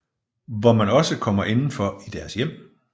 Hvor man også kommer indenfor i deres hjem